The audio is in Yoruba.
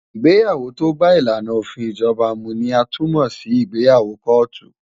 Ìgbéyàwó tó bá ìlànà òfin ìjọba mu ni a tún mọ̀ sí ìgbéyàwó kóòtù.